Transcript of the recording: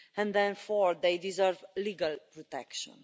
Therefore they deserve legal protection.